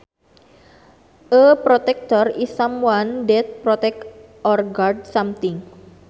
A protector is someone that protects or guards something